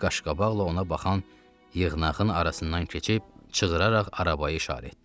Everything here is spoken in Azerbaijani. Heyli qaşqabaqla ona baxan yığınağın arasından keçib qışqıraraq arabaya işarə etdi.